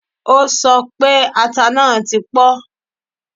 O sọ pé ata náà ti pọ́